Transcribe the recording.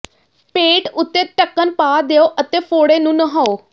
ਪੇਟ ਉੱਤੇ ਢੱਕਣ ਪਾ ਦਿਓ ਅਤੇ ਫ਼ੋੜੇ ਨੂੰ ਨਹਾਓ